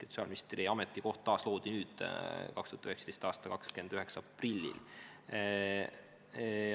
Sotsiaalministri ametikoht taasloodi 2019. aasta 29. aprillil.